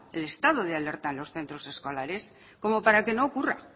el estado de alerta en los centros escolares como para que no ocurra